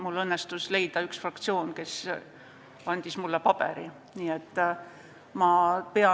Mul õnnestus leida üks fraktsioon, kes andis mulle selle jaoks paberi.